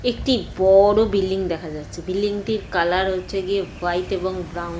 একটি বড় বিল্ডিং দেখা যাচ্ছে। বিল্ডিং -টির কালার হচ্ছে গিয়ে হোয়াইট এবং ব্রাউন ।